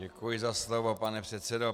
Děkuji za slovo, pane předsedo.